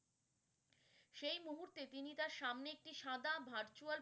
সেই মুহূর্তে তিনি তার সামনে একটি সাদা virtual